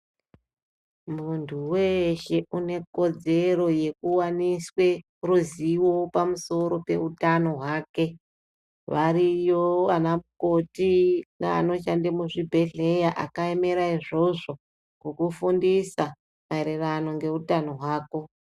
Munhu weshe une kodzero yekuwaniswe ruzivo pamusoro peutano hwake. Variyo anamukoti neanoshanda muzvibhedhlera akaemera izvozvo kukufundisa maererano ngeutano hwako.